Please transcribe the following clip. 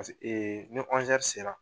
ee ni sera